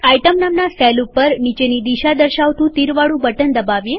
item નામના cell ઉપર નીચેની દિશા દર્શાવતું તીરવાળું બટન દબાવીએ